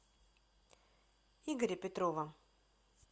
игоря петрова